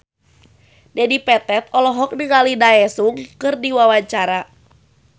Dedi Petet olohok ningali Daesung keur diwawancara